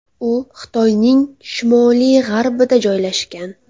U Xitoyning shimoliy-g‘arbida joylashgan.